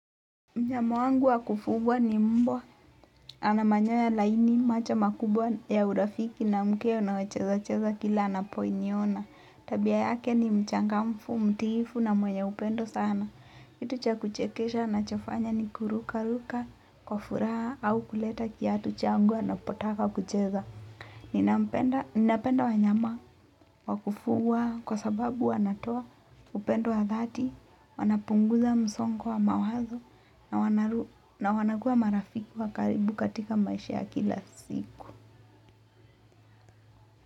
Mnyama wangu wa kufugwa ni mbwa, ana manyoya laini, macho makubwa ya urafiki na mkia unaocheza cheza kila anaponiona. Tabia yake ni mchangamfu, mtifu na mwenye upendo sana. Kitu cha kuchekesha anachofanya ni kuruka ruka, kwa furaha au kuleta kiatu changu anapotaka kucheza. Ninampenda napenda wanyama, wakufugwa kwa sababu wanatoa upendo wa dhati, wanapunguza msongo wa mawazo na wana na wanakuwa marafiki wa karibu katika maisha kila siku.